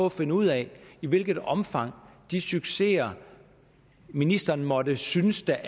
at finde ud af i hvilket omfang de succeser ministeren måtte synes der